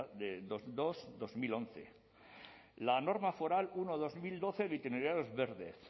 dos barra dos mil once la norma foral uno barra dos mil doce de itinerarios verde